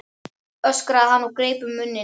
öskraði hann og greip um munninn.